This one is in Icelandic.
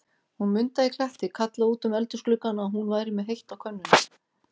Hún Munda í Kletti kallaði út um eldhúsgluggann, að hún væri með heitt á könnunni.